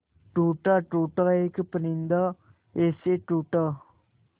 टूटा टूटा एक परिंदा ऐसे टूटा